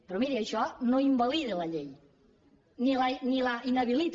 però miri això no invalida la llei ni la inhabilita